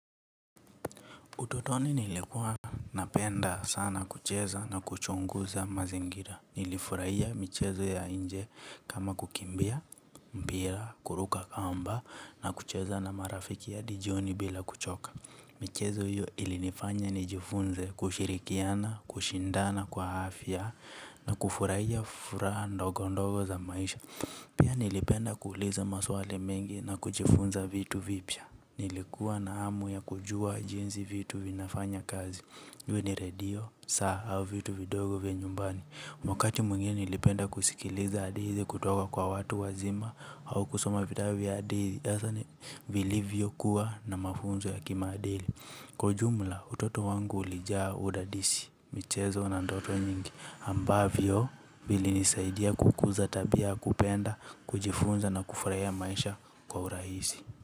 Utotoni nilikuwa napenda sana kucheza na kuchunguza mazingira. Nilifurahia michezo ya nje kama kukimbia, pia kuruka kamba na kucheza na marafiki hadi jioni bila kuchoka michezo hiyo ilinifanya nijifunze kushirikiana kushindana kwa afya na kufurahia furaha ndogo ndogo za maisha. Nilipenda kuuliza maswali mengi na kuchifunza vitu vipya. Nilikuwa na hamu ya kujua jinzi vitu vinafanya kazi iwe ni redio, saa au vitu vidogo vya nyumbani wakati mwengine nilipenda kusikiliza hadithi kutoka kwa watu wazima au kusoma vitabu vya hadithi hasa ni vilivyokuwa na mafunzo ya kimaadili. Kwa ujumla utoto wangu ulijaa udadisi. Michezo na ndoto nyingi ambavyo vilinisaidia kukuza tabia kupenda kujifunza na kufraia maisha kwa urahisi.